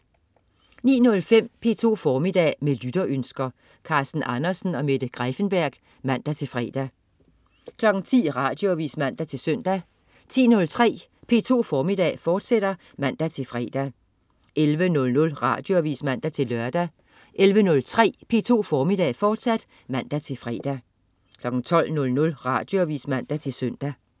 09.05 P2 Formiddag. Med lytterønsker. Carsten Andersen og Mette Greiffenberg (man-fre) 10.00 Radioavis (man-søn) 10.03 P2 Formiddag, fortsat (man-fre) 11.00 Radioavis (man-lør) 11.03 P2 Formiddag, fortsat (man-fre) 12.00 Radioavis (man-søn)